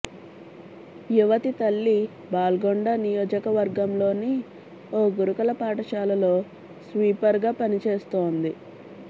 యువతి తల్లి బాల్కొండ నియోజకవర్గంలోని ఓ గురుకుల పాఠశాలలో స్వీపర్గా పని చేస్తోంది